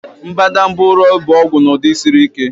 Mbadamba ụrọ bụ ọgwụ n'ụdị siri ike.